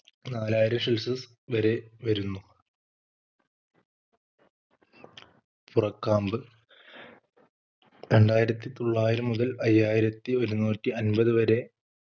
നാലായിരം Celsius വരെ വരുന്നു പുറക്കാമ്പ് രണ്ടായിരത്തി തൊള്ളായിരം മുതൽ അയ്യായിരത്തി ഒരുന്നൂറ്റി അൻപത് വരെ